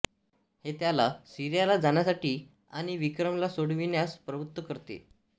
हे त्याला सीरियाला जाण्यासाठी आणि विक्रमला सोडविण्यास प्रवृत्त करते